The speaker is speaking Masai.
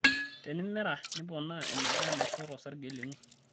Tenimera, niponaa eneba enaisho tosrge lino.